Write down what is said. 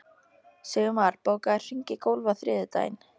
Sigurmar, bókaðu hring í golf á þriðjudaginn.